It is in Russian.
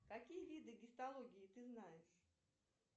какие виды гистологии ты знаешь